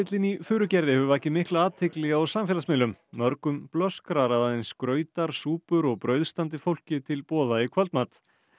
í Furugerði hefur vakið mikla athygli á samfélagsmiðlum mörgum blöskrar að aðeins grautar súpur og brauð standi fólki til boða í kvöldmat